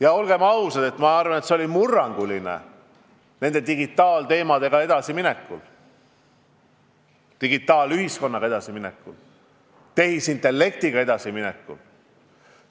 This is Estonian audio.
Ja olgem ausad, ma arvan, et see oli murranguline hetk digitaalteemadega edasiminekul, digitaalühiskonnaga edasiminekul, tehisintellektiga edasiminekul.